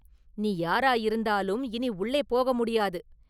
“நீ யாராயிருந்தாலும் இனி உள்ளே போக முடியாது!